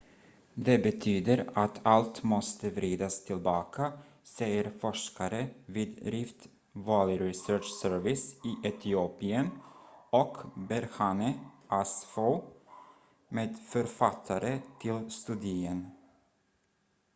"""det betyder att allt måste vridas tillbaka" säger forskare vid rift valley research service i etiopien och berhane asfaw medförfattare till studien.